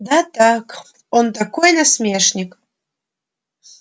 да так он такой насмешник